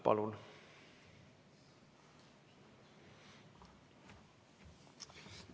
Palun!